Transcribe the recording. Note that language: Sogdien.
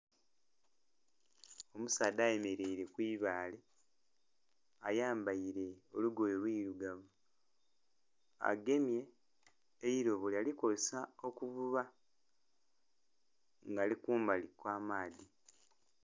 Omusaadha ayemeleire ku ibaale. Ayambaile olugoye lwirugavu. Agemye eilobo yalikozesa okuvuba, nga ali kumbali kw'amaadhi.